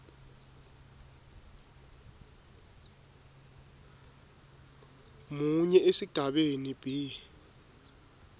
munye esigabeni b